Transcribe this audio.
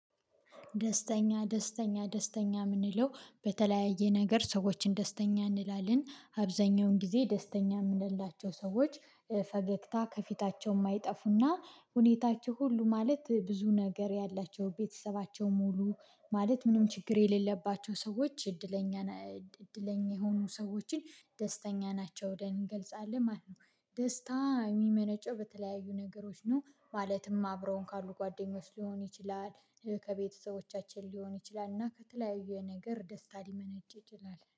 ደስተኛ ደስተኛ ደስተኛ የምንለው በተለያየ ነገር ሰዎችን ደስተኛ እንላለን። አብዛኛውን ጊዜ ደስተኛ የምንላቸው ሰዎች ፈገግታ ከፊታቸው የማይጠፉና ሁኔታቸው ሁሉ ማለት ብዙ ነገር ያላቸው፤ ቤተሰባቸው ሙሉ ማለት ምንም ችግር የሌለባቸው ሰዎች እድለኛ የሆኑ ሰዎችን ደስተኛ ናቸው ብለን እንገልጻለን ማለት ነው። ደስታ የሚመነጨው በተለያዩ ነገሮች ነው ማለትም አብረውን ካሉ ጓደኞች ሊሆን ይችላል። ከቤተሰቦቻችን ሊሆን ይችላል። እና ከተለያዩ ነገር ደስታ ሊመነጭ ይችላል።